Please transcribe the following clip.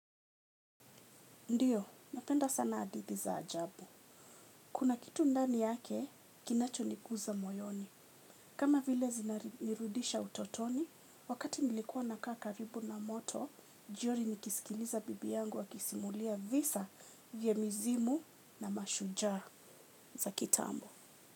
Ndiyo, napenda sana adithi za ajabu. Kuna kitu ndani yake, kinachoniguza moyoni. Kama vile zinanirudisha utotoni, wakati nilikuwa nakaa karibu na moto, jiori nikisikiliza bibi yangu akisimulia visa vya mizimu na mashujaa za kitambo.